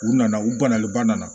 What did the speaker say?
U nana u banalenba nana